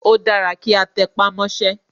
Ó dára kí a tẹpá mọ́sẹ́.